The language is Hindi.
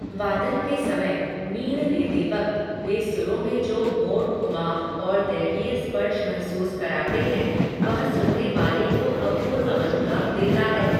वादन के समय, मींड़ लेते वक्त, वे सुरों में जो मोड़, घुमाव, और दैवीय स्पर्श महसूस कराते हैं, वह सुनने वाले को अपूर्व अनुभव देता है